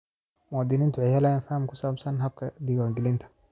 Muwaadiniintu waxay helayaan faham ku saabsan habka diiwaangelinta.